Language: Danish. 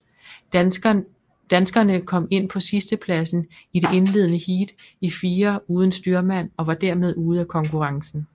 Danskerne kom ind på sidstepladsen i det indledende heat i firer uden styrmand og var dermed ude af konkurrencen